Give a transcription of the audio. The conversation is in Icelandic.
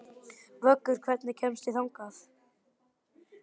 Vöggur, hvernig kemst ég þangað?